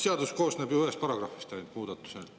Seadus koosneb ju ühest paragrahvist ainult, muudatused …